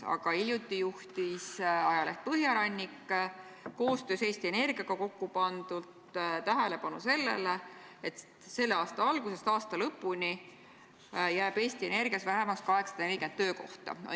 Aga hiljuti juhtis ajaleht Põhjarannik koostöös Eesti Energiaga tähelepanu sellele, et selle aasta algusest aasta lõpuni jääb Eesti Energias vähemaks 840 töökohta.